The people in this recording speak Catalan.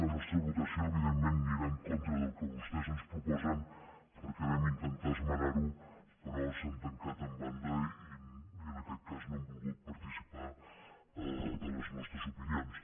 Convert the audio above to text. la nostra votació evident·ment anirà en contra del que vostès ens proposen perquè vam intentar esmenar·ho però s’han tancat en banda i en aquest cas no han volgut participar de les nostres opinions